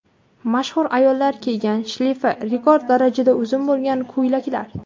Mashhur ayollar kiygan shleyfi rekord darajada uzun bo‘lgan ko‘ylaklar .